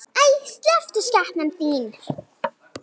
Æi, slepptu skepnan þín!